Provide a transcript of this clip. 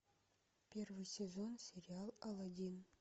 первый сезон сериал алладин